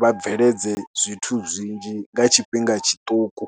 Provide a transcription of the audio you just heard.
vha bveledze zwithu zwinzhi nga tshifhinga tshiṱuku.